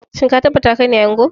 Shin ka tabbata kaine ango?